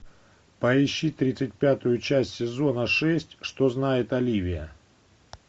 поищи тридцать пятую часть сезона шесть что знает оливия